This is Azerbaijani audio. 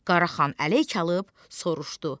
Qaraxan ələyk alıb soruşdu: